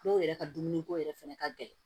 Dɔw yɛrɛ ka dumuni ko yɛrɛ fɛnɛ ka gɛlɛn